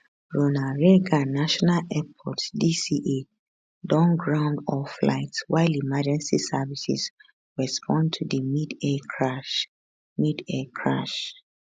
ronald reagan national airport dca don ground all flights while emergency services respond to di midair crash midair crash